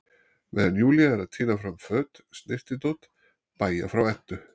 Meðan Júlía er að tína fram föt, snyrtidót, bægja frá Eddu